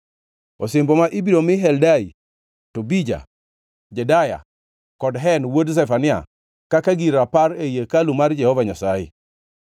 Osimbo ibiro mi Heldai, Tobija, Jedaya kod Hen wuod Zefania kaka gir rapar ei hekalu mar Jehova Nyasaye.